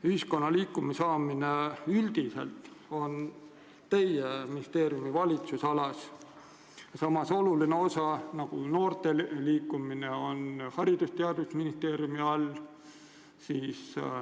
Inimeste liikuma saamine on üldiselt teie ministeeriumi valitsemisalas, samas selline oluline valdkond nagu noorte liikumine on Haridus- ja Teadusministeeriumi all.